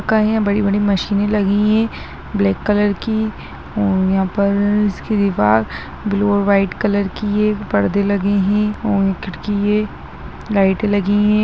का है बड़ी-बड़ी मशीने लगी है ब्लैक कलर की और यहाँ पर इसके दीवार ब्लू और व्हाइट कलर की है यहां पर एक परदे लगे हैं और ये खिड़की है लाइटें लगी है।